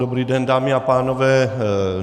Dobrý den, dámy a pánové.